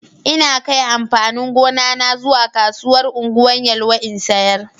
Ina kai amfanin gona na zuwa kasuwar Ungwan Yelwa in sayar.